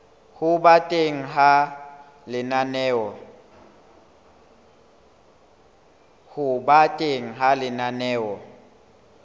ho ba teng ha lenaneo